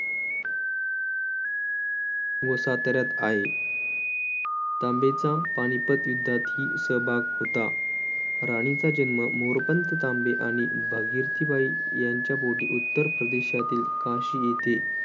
व साताऱ्यात आहे तांबेंचा पानिपत युद्धातही सहभाग होता राणीचा जन्म मोरपंथ तांबे आणि भागीरथीबाई यांच्या पोटी उत्तर प्रदेशातील काशी येथे